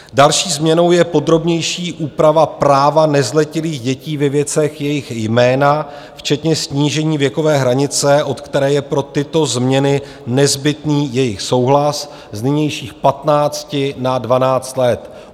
Další změnou je podrobnější úprava práva nezletilých dětí ve věcech jejich jména včetně snížení věkové hranice, od které je pro tyto změny nezbytný jejich souhlas, z nynějších 15 na 12 let.